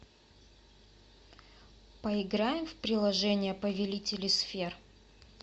поиграем в приложение повелители сфер